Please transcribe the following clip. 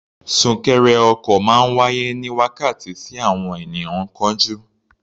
Súnkẹrẹ ọkọ̀ máa ń wáyé ní wákàtí tí àwọn ènìyàn ń kánjú.